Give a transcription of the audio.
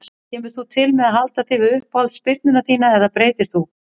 Kemur þú til með að halda þig við uppáhalds spyrnuna þína eða breytir þú?